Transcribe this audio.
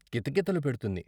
కితకితలు పెడుతుంది....